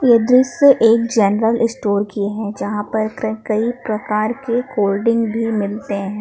ये दृश्य एक जनरल स्टोर की है यहां पर कई कई प्रकार के कोल्ड ड्रिंक भी मिलते हैं।